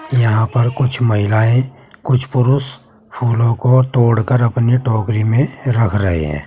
यहां पर कुछ महिलाएं कुछ पुरुष फूलों को तोड़कर अपनी टोकरी में रख रहे हैं।